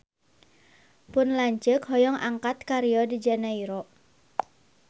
Pun lanceuk hoyong angkat ka Rio de Janairo